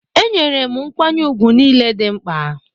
Enyere m nkwanye ùgwù niile dị mkpa